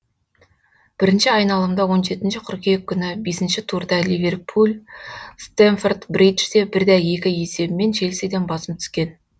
бірінші айналымда он жетінші қыркүйек күні бесінші турда ливерпуль стэмфорд бриджде бір де екі есебімен челсиден басым түскен